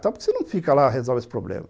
Por que você não fica lá e resolve esse problema?